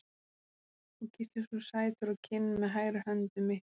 Og kyssir svo sætur á kinn með hægri hönd um mittið.